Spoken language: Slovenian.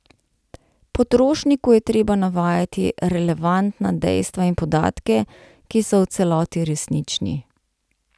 Potrošniku je treba navajati relevantna dejstva in podatke, ki so v celoti resnični.